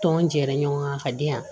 Tɔn jɛra ɲɔgɔn kan ka di yan